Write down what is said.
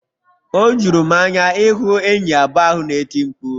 O juru m anya ịhụ enyi abụọ ahụ na-eti mkpu..